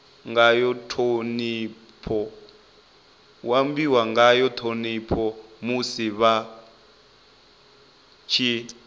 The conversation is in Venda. ngayo ṱhonipho musi vha tshi